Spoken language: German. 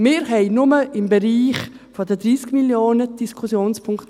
Wir haben hier drin nur im Bereich der 30 Mio. Franken Diskussionspunkte.